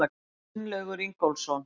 Gunnlaugur Ingólfsson.